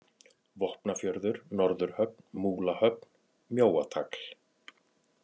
Vopnafjörður, Norðurhöfn, Múlahöfn, Mjóatagl